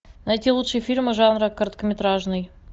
найти лучшие фильмы жанра короткометражный